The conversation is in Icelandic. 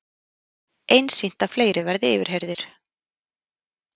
Einsýnt að fleiri verði yfirheyrðir